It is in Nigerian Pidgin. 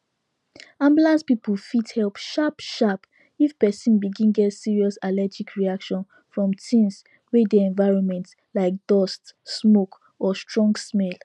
ambulance people fit help sharp sharp if person begin get serious allergic reaction from things wey dey environment like dust smoke or strong smell